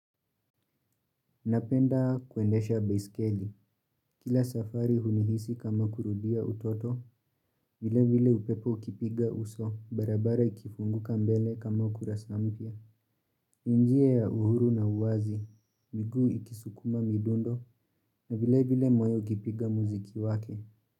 Napenda kuendesha baiskeli, kila safari hunihisi kama kurudia utoto, vile vile upepo kipiga uso, barabara ikifunguka mbele kama ukurasa mpya, njia ya uhuru na uwazi, niku iki sukuma midundo, na vile vile moyo ukipiga muziki wake.